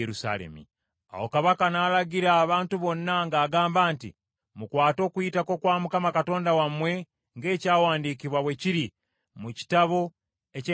Awo kabaka n’alagira abantu bonna ng’agamba nti, “Mukwate Okuyitako kwa Mukama Katonda wammwe ng’ekyawandiikibwa bwe kiri mu Kitabo eky’endagaano.”